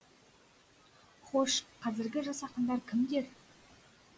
хош қазіргі жас ақындар кімдер